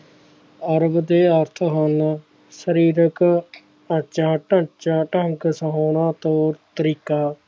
ਅਰਬ ਦੇ ਅੱਠ ਹਨ ਸਰੀਰਕ ਆਚਾ ਢਾਂਚਾ ਢੰਗ ਸੋਹਣਾ ਤੇ ਤਰੀਕਾ